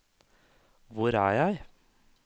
hvor er jeg